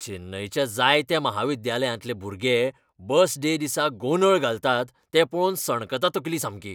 चेन्नयच्या जायत्या म्हाविद्यालयांतले भुरगे बस डे दिसा गोंदळ घालतात तें पळोवन सणकता तकली सामकी.